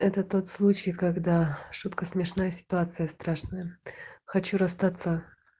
это тот случай когда шутка смешная ситуация страшная хочу расстаться